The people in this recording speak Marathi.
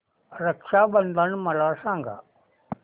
रक्षा बंधन मला सांगा